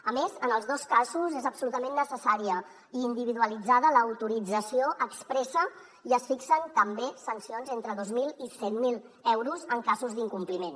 a més en els dos casos és absolutament necessària i individualitzada l’autorització expressa i es fixen també sancions entre dos mil i cent mil euros en casos d’incompliment